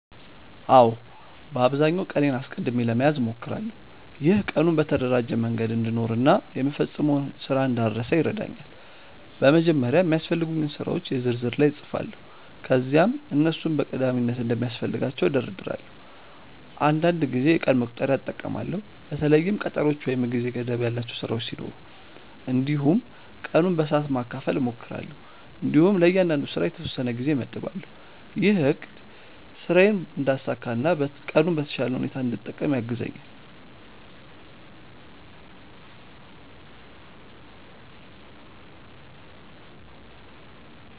አዎ፣ በአብዛኛው ቀኔን አስቀድሜ ለመያዝ እሞክራለሁ። ይህ ቀኑን በተደራጀ መንገድ እንድኖር እና የምፈጽመውን ስራ እንዳልረሳ ይረዳኛል። በመጀመሪያ የሚያስፈልጉኝን ስራዎች የ ዝርዝር ላይ እጻፋለሁ ከዚያም እነሱን በቀዳሚነት እንደሚያስፈልጋቸው እደርዳለሁ። አንዳንድ ጊዜ የቀን መቁጠሪያ እጠቀማለሁ በተለይም ቀጠሮዎች ወይም የጊዜ ገደብ ያላቸው ስራዎች ሲኖሩ። እንዲሁም ቀኑን በሰዓት ማካፈል እሞክራለሁ እንዲሁም ለእያንዳንዱ ስራ የተወሰነ ጊዜ እመድባለሁ። ይህ አቅድ ስራዬን እንዳሳካ እና ቀኑን በተሻለ ሁኔታ እንድጠቀም ያግዛኛል።